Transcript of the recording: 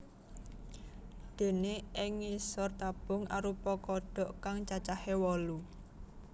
Déné ing ngisoré tabung arupa kodhok kang cacahé wolu